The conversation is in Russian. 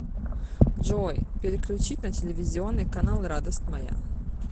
джой переключить на телевизионный канал радость моя